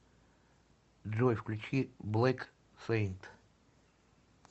джой включи блэк сэйнт